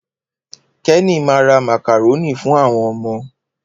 Kenny ma ra màkàrónì fún àwọn ọmọ